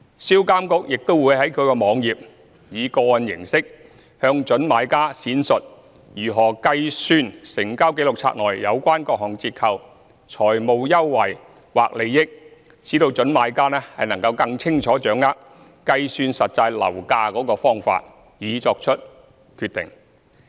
銷監局亦會在其網頁，以個案形式，向準買家闡述如何計算成交紀錄冊內有關各項折扣、財務優惠或利益，使準買家更清楚掌握計算實際樓價的方法，以作出決定。